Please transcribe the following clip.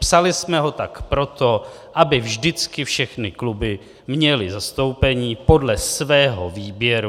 Psali jsme ho tak proto, aby vždycky všechny kluby měly zastoupení podle svého výběru.